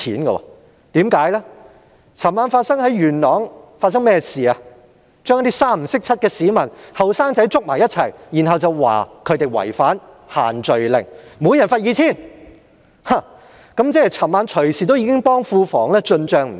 昨晚警方在元朗拘捕一些互不相識的市民及年輕人，指他們違反"限聚令"，每人罰款 2,000 元，即是昨晚已替庫房進帳不少。